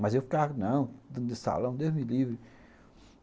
Mas eu ficava, não, dentro desse salão, Deus me livre.